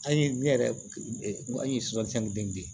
An ye ne yɛrɛ an ye den